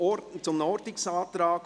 Antrag glp [Alberucci, Ostermundigen])